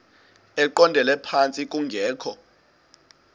eqondele phantsi kungekho